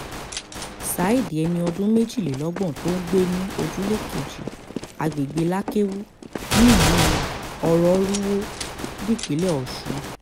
saheed ẹni ọdún méjìlélọ́gbọ̀n tó ń gbé ní ojúlé kejì àgbègbè lakewu nílùú ọ̀rọ̀rùwò nípínlẹ̀ ọ̀sùn